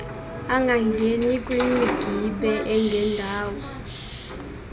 angangeni kwimigibe engendawo